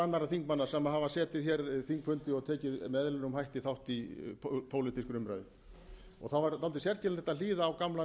annarra þingmanna sem hafa setið þingfundi og tekið með eðlilegum hætti þátt í pólitískri umræðu það var dálítið sérkennilegt að hlýða á gamlan